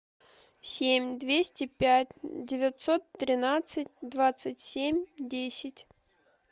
семь двести пять девятьсот тринадцать двадцать семь десять